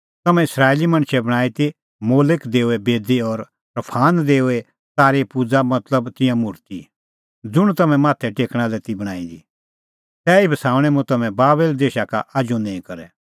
तम्हैं इस्राएली मणछै बणांईं ती मोलक देओए बेदी और रफान देओए तारे पूज़ा मतलब तिंयां मुर्ति ज़ुंण तम्हैं माथै टेकणा लै ती बणांईं दी तैही बसाऊणैं मुंह तम्हैं बाबेल देशा का आजू निंईं करै